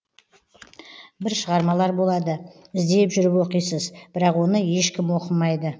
бір шығармалар болады іздеп жүріп оқисыз бірақ оны ешкім оқымайды